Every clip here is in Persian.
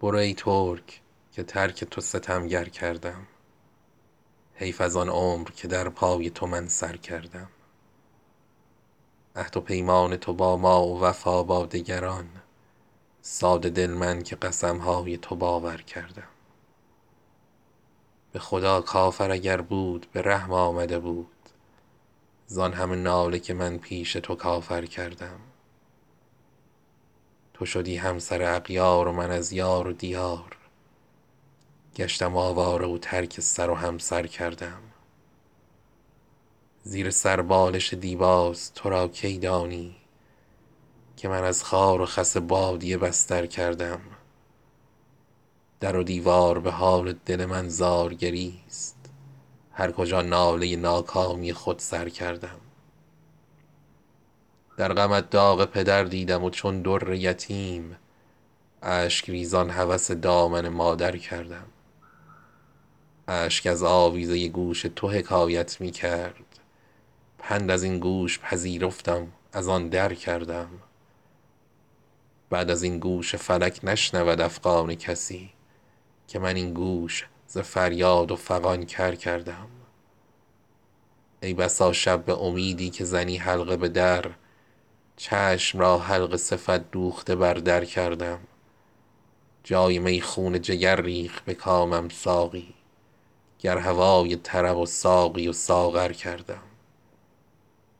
برو ای ترک که ترک تو ستمگر کردم حیف از آن عمر که در پای تو من سرکردم عهد و پیمان تو با ما و وفا با دگران ساده دل من که قسم های تو باور کردم به خدا کافر اگر بود به رحم آمده بود زآن همه ناله که من پیش تو کافر کردم تو شدی همسر اغیار و من از یار و دیار گشتم آواره و ترک سر و همسر کردم زیر سر بالش دیباست تو را کی دانی که من از خار و خس بادیه بستر کردم در و دیوار به حال دل من زار گریست هر کجا ناله ناکامی خود سر کردم در غمت داغ پدر دیدم و چون در یتیم اشک ریزان هوس دامن مادر کردم اشک از آویزه گوش تو حکایت می کرد پند از این گوش پذیرفتم از آن در کردم بعد از این گوش فلک نشنود افغان کسی که من این گوش ز فریاد و فغان کر کردم ای بسا شب به امیدی که زنی حلقه به در چشم را حلقه صفت دوخته بر در کردم جای می خون جگر ریخت به کامم ساقی گر هوای طرب و ساقی و ساغر کردم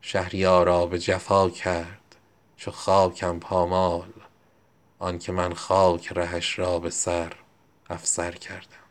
شهریارا به جفا کرد چو خاکم پامال آن که من خاک رهش را به سر افسر کردم